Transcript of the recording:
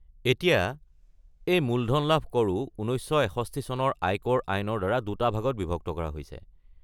এতিয়া, এই মূলধন লাভ কৰও ১৯৬১ চনৰ আয়কৰ আইনৰ দ্বাৰা দুটা ভাগত বিভক্ত কৰা হৈছে।